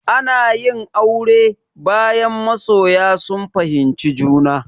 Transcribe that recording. Ana yin aure, bayan masoya sun fahimci juna.